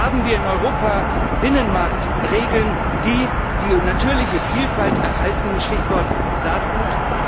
Haben wir in Europa Binnenmarktregeln, die die natürliche Vielfalt erhalten Stichwort Saatgut?